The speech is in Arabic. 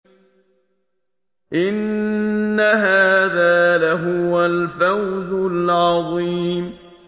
إِنَّ هَٰذَا لَهُوَ الْفَوْزُ الْعَظِيمُ